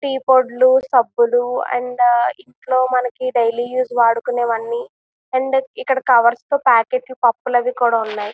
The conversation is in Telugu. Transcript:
టీ పొడులుసబ్బులు అండ్ ఇంకా మనకి డైలీ యూస్ వాడుకునేవన్నీ అంటే ఇక్కడ కవర్స్ తో ప్యాక్ అయినా పప్పులు అవి కూడా ఉన్నాయి.